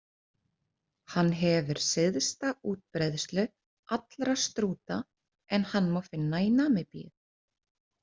Hann hefur syðsta útbreiðslu allra strúta en hann má finna í Namibíu.